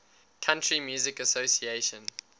country music association